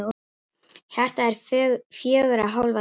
Hjartað er fjögurra hólfa dæla.